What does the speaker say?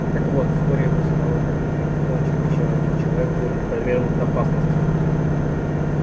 так вот вскоре после того как мы кончим ещё один человек будет повергнут опасности